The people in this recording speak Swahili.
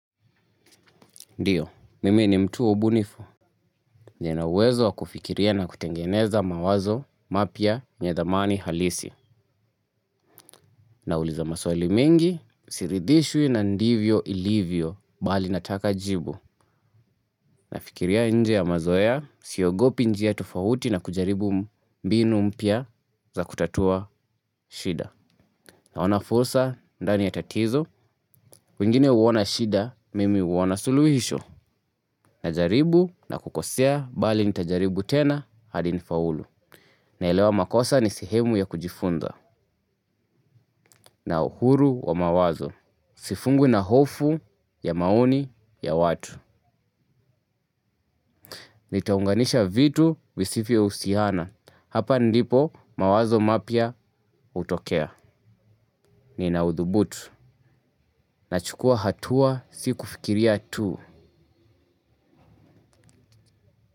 Ndiyo, mimi ni mtu wa ubunifu, nina uwezo wa kufikiria na kutengeneza mawazo mapya yenye thamani halisi. Nauliza maswali mengi, siridhishwi na ndivyo ilivyo, bali nataka jibu. Nafikiria nje ya mazoea, siogopi njia tofauti na kujaribu mbinu mpya za kutatua shida. Naona fursa ndani ya tatizo, wengine huona shida, mimi huona suluhisho. Najaribu na kukosea bali nitajaribu tena hadi nifaulu. Naelewa makosa ni sehemu ya kujifunza. Na uhuru wa mawazo sifungwi na hofu ya maoni ya watu. Nitaunganisha vitu visivyohusiana hapa ndipo mawazo mapya hutokea. Nina uthubutu nachukua hatua si kufikiria tu.